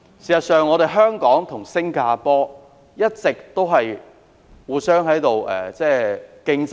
事實上，香港與新加坡一直存在相互良性競爭。